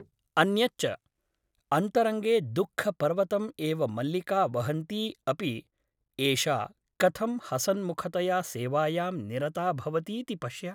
अन्यच्च अन्तरङ्गे दुःखपर्वतम् एव मल्लिका वहन्ती अपि एषा कथं हसन्मुखतया सेवायां निरता भवतीति पश्य ।